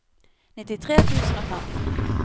nittitre tusen og fem